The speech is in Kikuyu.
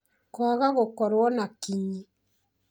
kwaga gũkorwo na kinyi